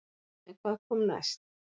En hvað kom næst?